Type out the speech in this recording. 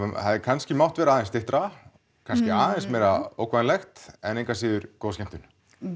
hefði kannski mátt vera aðeins styttra kannski aðeins meira ógnvænlegt en engu að síður góð skemmtun